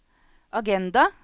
agenda